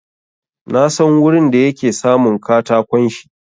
Na san wurin da yake samun katakon shi.